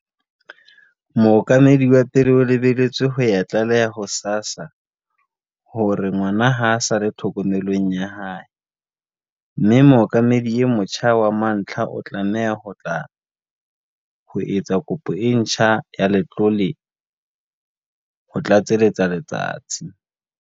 Mohlokomedi wa pele o lebeletswe ho ya tlaleha ho SASSA hore ngwana ha a sa le tlhokomelong ya hae, mme mohlokomedi e motjha wa mantlha o tlameha ho tla ho etsa kopo e ntjha ya letlole, ho tlatseletsa Letsatsi.